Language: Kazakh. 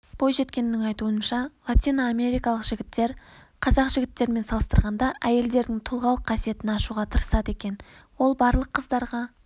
бойжеткеннің айтуынша латиноамерикалық жігіттер қазақ жігіттерімен салыстырғанда әйелдердің тұлғалық қасиетін ашуға тырысады екен ол барлық қыздарға